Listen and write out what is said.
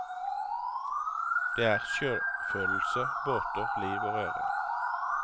Det er sjøfølelse, båter, liv og røre.